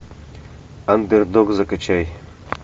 андердог закачай